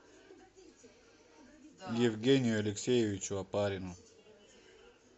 евгению алексеевичу опарину